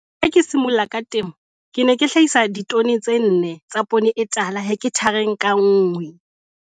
Ha ke simolla ka temo ke ne ke hlahisa ditone tse 4 tsa poone e tala hekthareng ka nngwe.